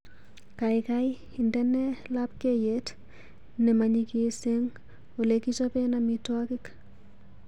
Gaigai indene labkeiyet nemanyigiis eng olegichopen amitwogik